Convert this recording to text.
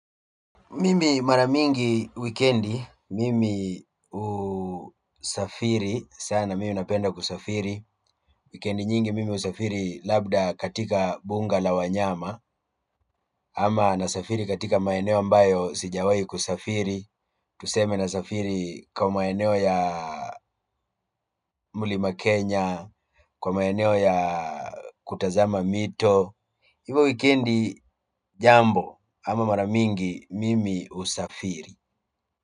Mimi mara mingi wikendi mimi husafiri sana mimi napenda kusafiri wikendi nyingi mimi husafiri labda katika mbuga la wanyama ama nasafiri katika maeneo ambayo sijawai kusafiri tuseme nasafiri kwa maeneo ya mlima Kenya, kwa maeneo ya kutazama mito hivo wikendi jambo ama mara mingi mimi husafiri.